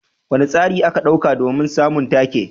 Wane tsari ake ɗauka don samun take?